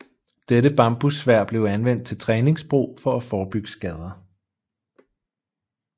Dette bambussværd blev anvendt til træningsbrug for at forebygge skader